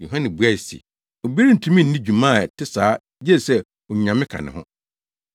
Yohane buae se, “Obi rentumi nni dwuma a ɛte saa gye sɛ Onyame ka ne ho.